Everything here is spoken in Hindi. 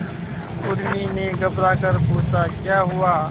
उर्मी ने घबराकर पूछा क्या हुआ